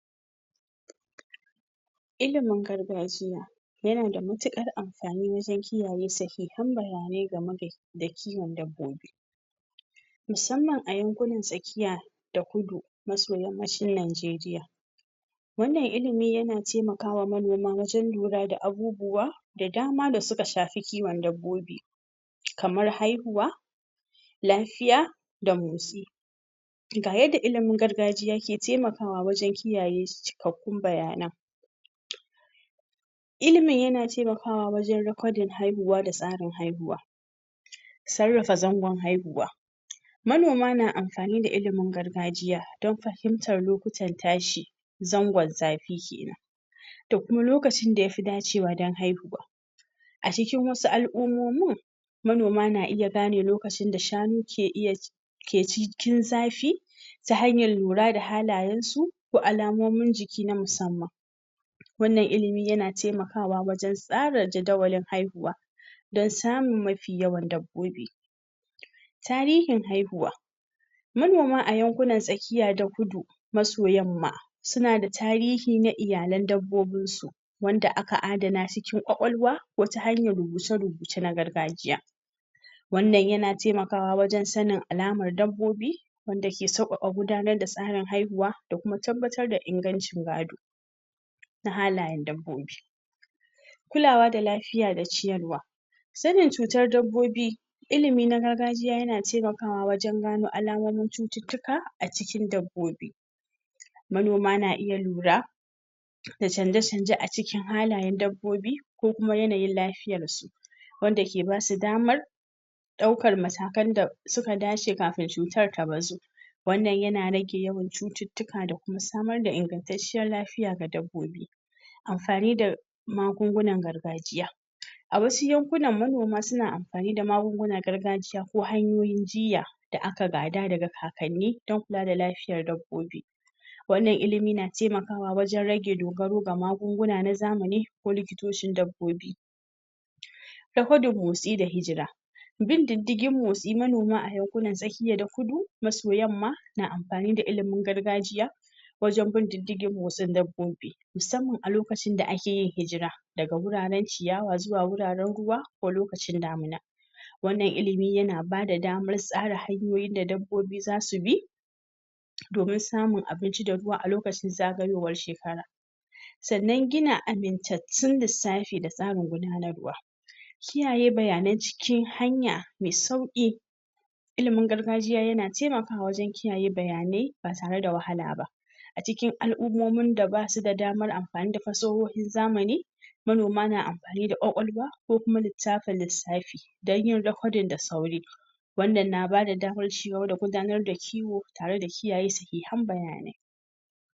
Ilimin gargajiya yanada matuƙar am fani wajan kiyaye sahihan bayanai da kiwon dabbo bi musamman a yankunan tsakiya da kudu maso gabshin Naijeriya wannan ilimi yana tema kama manoma wajen lura da abubuwa da dama da suka shafi kiwon dabbobi kamar haihuwa lafiya da motsi ga yadda ilimin gargajiya ke tema kawa wajan kiyaye cikakkun baya nan ilimin yana temakawa wajan rikodin haihuwa da tsarin haihuwa sarrafa zangon haihuwa manoma na amfani da ilimin gargajiya dan fahimtar lokutan tashi zangon zafi kenan da kuma lokacin da yafi dacewa dan haihuwa acikin wasu al'ummomin manoma na iya gane lokacin da shanu ke iya ke cikin zafi ta hanyar lura da halayansu ko alamomin jiki na musamman wannan ilimi yana temakawa tsarin jadawalin haihuwa dan samun mafi yawan dabbobi tarihin haihuwa manoma a yankunnan tsakiya ta kudu maso yamma sunada tarihi na iyalan dabbobinsu wanda aka adana cikin kwakwalwa ko ta hanyan rubuce rubuce na gargajiya wannan yana temakawa wajan sanin alamar dabbobi wanda ke sauƙaƙa gudanar da tsarin haihuwa da kuma tabbatar da in ganci gad na halayan dabbobi kulawa da lafiya da ciyarwa sanin cutar dabbobi ilimi na gargajiyana tema kawa wajan alamomin cututtuka acikin dabbobi manoma na iya lura da canje canje acikin halayen dabbobi se kuma yanayin lafiyarsu wanda ke basu daman ɗaukan matakan da suka dace kafin cutan da bazu wannan yana rage yawan cucuctuka don samar da ingantaciyar lafiya ga dabbobi amfani da magungunan gargajiya awasu yankunan manoma suna amfani da magungunan gargaji ya ko hanyoyin jiya da aka gada da ka kanni ta kula da lafiyan dabbobi wannan ilimi na tema kawa wajan rage dogaro da magunguna nazamani ko likitocin dabbobi ta hoda motsi da hijira bin diddigin motsi manoma fiye da kudu maso yamma na amfani da ilimin gargajiya wajan bin diddigin motsin dabbobi musamman a lokacin da akeyin hijira daga guraran ciyawa zuwa guraran ruwa ko lokacin damuna wannan ilimi yana bada daman tsara hanyoyin da dabbobi zasubi domin samun abinci da ruwa alokacin zagayowar shekara sananna gida amintantun lissafi da tsarin gudanarwa kiyaye bayanai cikin hanya mi sauƙi ilimin gargajiya yana temakawa wajan kiyaye bayanai batare da wahala ba acikin al'umman min da basu damar amfani da fashohin zamani manoma na amfani da kwakwalwa kokuma litafa lissafi danyin rekodin da sauri wannan na bada daman cigaba da gudanar da kiwo tare da kiyaye sahihan bayanai